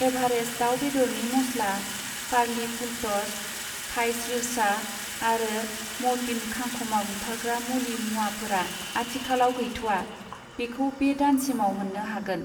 Everest दाउ बेदरनि मस्ला, पारलि फुलट'स थाइ स्रिरचहा आरो म'र्टिन खांखमा बुथारग्रा मुलि मुवाफोरा आथिखालाव गैथ'आ, बेखौ बे दानसिमाव मोन्नो हागोन।